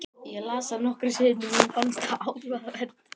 Ég las það nokkrum sinnum og mér fannst það áhugavert.